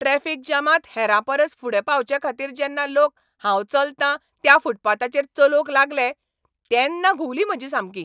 Traffic जामांत हेरां परस फुडें पावचेखातीर जेन्ना लोक हांव चलतां त्या फूटपाथाचेर चलोवंक लागले तेन्ना घुंवली म्हजी सामकी.